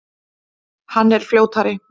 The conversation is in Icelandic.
Hann er fljótari.